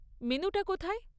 মেনুটা কোথায়?